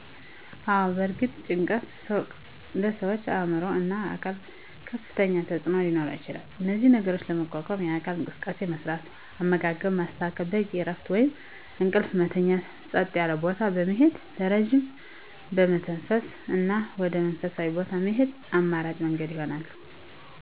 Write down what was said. አወ በእርግጥ ጭንቀት በሠዋች አዕምሮ እና አካል ከፍተኛ ተፅዕኖ ሊኖረው ይችላል እነዚህን ነገሮች ለመቋቋም የአካል እንቅስቃሴ መስራት፣ አመጋገብን ማስተካከል፣ በቂ እረፍት ወይም እንቅልፍ መተኛት፣ ፀጥ ያለ ቦታ በመሄድ በረጅም መተንፈስ እና ወደ መንፈሳዊ ቦታ መሄድ አማራጭ መንገድ ይሆናሉ።